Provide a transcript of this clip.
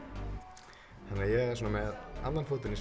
þannig að ég er svona með annan fótinn í